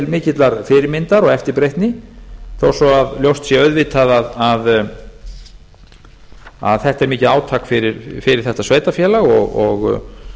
mikillar fyrirmyndar og eftirbreytni þó svo að ljóst sé auðvitað að þetta er mikið átak fyrir þetta sveitarfélag og